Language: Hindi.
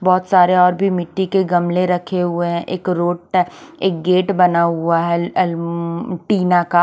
बोहोत सारे और भी मिटटी के गमले रखे हुए है एक रोत है एक गेट बना हुआ है एल अ तीना का --